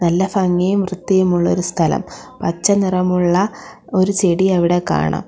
നല്ല ഭംഗിയും വൃത്തിയും ഉള്ളൊരു സ്ഥലം പച്ച നിറമുള്ള ഒരു ചെടി അവിടെ കാണാം.